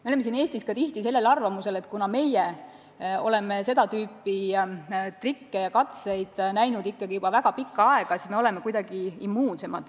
Me oleme siin Eestis tihti arvamusel, et kuna meie oleme seda tüüpi trikke ja katseid näinud juba väga pikka aega, siis me oleme kuidagi immuunsemad.